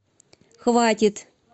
хватит